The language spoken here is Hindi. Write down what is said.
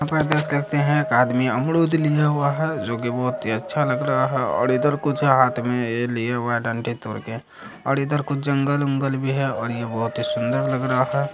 यहाँ पर देख सकते है एक आदमी अमरूद लिया हुआ है जो कि बहोत ही अच्छा लग रहा है और इधर कुछ हाथ में ये लिया हुआ है डंडी तोर के और इधर कुछ जंगल उंगल भी है और ये बहोत ही सुंदर लग रहा है।